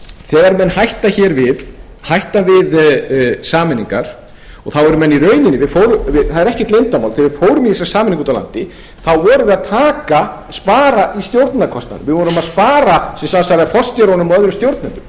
þegar menn hætta hér við hætta við sameiningar og þá eru menn í raun og veru það er ekkert leyndarmál að þegar við fórum í þessa sameiningu úti á landi spöruðum við í stjórnunarkostnaði við spöruðum forstjórunum og öðrum stjórnendum það er það sem við